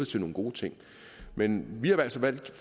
til nogle gode ting men vi har altså